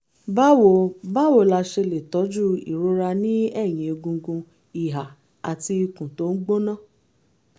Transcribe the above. báwo báwo la ṣe lè tọ́jú ìrora ní ẹ̀yìn egungun ìhà àti ikùn tó ń gbóná?